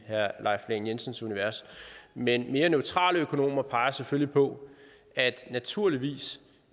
herre leif lahn jensens univers men mere neutrale økonomer peger selvfølgelig på at det naturligvis